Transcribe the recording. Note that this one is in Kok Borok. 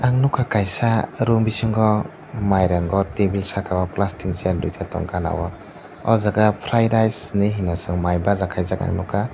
ang nogka kaisa room bisingo mairango tebil saka o plastic ni chair duita tongka gana o o jaga fry rice hinui hono chong mai baja kaijak nogkha.